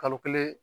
Kalo kelen